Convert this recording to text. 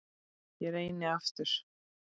Ég reyni aftur